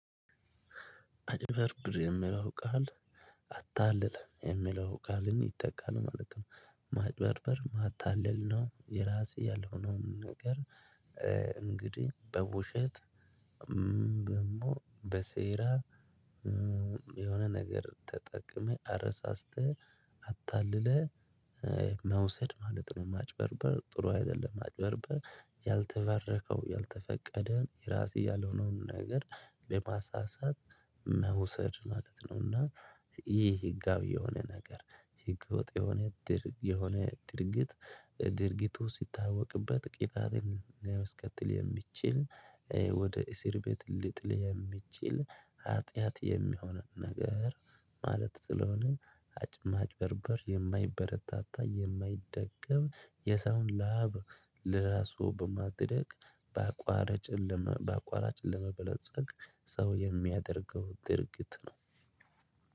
አጭበርብር የሚለው ቃል አታለለ የሚለው ቃልም ይተካል ማለት ነው። ማጭበርበር ማታለል ነው የራስ ያልሆነውን ነገር እንግዲህ በውሸት ደግሞ በሴራ የሆነ ነገር ተጠቅመህ አረሳስተህ አታለህ መውሰድ ማለት ነው ማጭበርበር ጥሩ አይደለም ማጭበርበር ያልተባረከው ያልተፈቀደ የራስ ያልሆነውን ነገር በማሳሳት መውሰድ ማለት ነው እና ይህ ህጋዊ የሆነ ነገር ህገወጥ የሆነ ድርጊት የሆነ ድርጊት ድርጊቱ ሲታወቅበት ቅጣትን ሊያስከትል የሚችል ወደ እስር ቤት ልጥል የሚችል ኃጢያት የሚሆነው ነገር ማለት ስለሆነ ማጭበርበር የማይበረታታ የማይደገም የሰውን ላብ ለራሱ በማድረግ በአቋራጭ ለመበልጸግ ሰው የሚያደርገው ድርጊት ነው